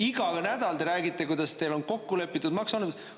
Iga nädal te räägite, kuidas teil on kokku lepitud maksualandused.